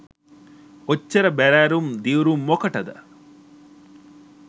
ඔච්චර බැරෑරුම් දිව්රුම් මොකටද